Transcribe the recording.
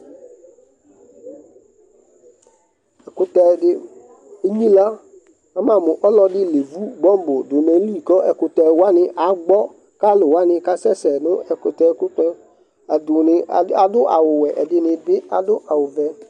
ɛkʊtɛ dɩ enyilǝ, ama mu ɔlɔdɩ evu bomb dʊ nʊ ayili, kʊ ɛkʊtɛwanɩ agbɔ, kʊ alʊwanɩ asɛ sɛ nʊ ɛkʊtɛkʊtɛ, ɛdɩnɩ adʊ awu wɛ, cɛdɩnɩ ta adʊ awu vɛ